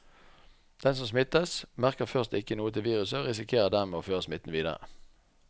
Den som smittes, merker først ikke noe til viruset og risikerer dermed å føre smitten videre.